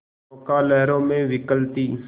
नौका लहरों में विकल थी